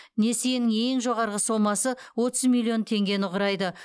несиенің ең жоғарғы сомасы отыз миллион теңгені құрайды